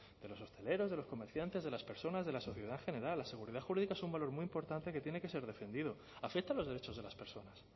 de los hosteleros de los comerciantes de las personas de la sociedad en general la seguridad jurídica es un valor muy importante que tiene que ser defendido afecta a los derechos de las personas